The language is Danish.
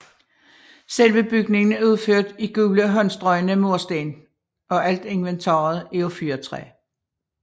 Selve bygningen er udført i gule håndstrøgne mursten og alt inventaret er af fyrretræ